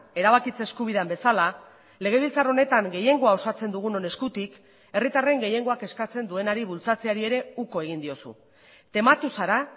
erabakitze eskubidean bezala legebiltzar honetan gehiengoa osatzen dugunon eskutik herritarren gehiengoak eskatzen duenari bultzatzeari ere uko egin diozu tematu zara